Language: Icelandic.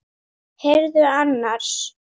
Heyrðu annars.